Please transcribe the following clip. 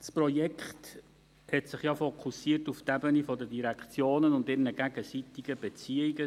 Das Projekt fokussierte sich ja auf die Ebene der Direktionen und ihrer gegenseitigen Beziehungen.